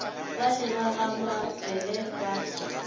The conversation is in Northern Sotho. bale ba ga mabele ba